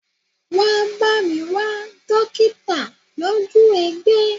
Wá bá mi wá dokita lójú egbé!